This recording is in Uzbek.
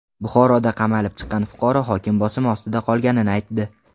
Buxoroda qamalib chiqqan fuqaro hokim bosimi ostida qolganini aytdi.